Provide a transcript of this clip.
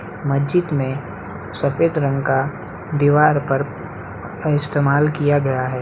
मस्जिद में सफेद रंग का दीवाल पर इस्तमाल किया गया है।